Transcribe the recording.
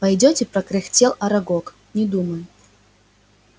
пойдёте прокряхтел арагог не думаю